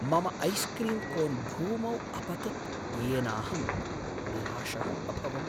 मम ice cream cone भूमौ अपतत् येनाहं निराशः अभवम्।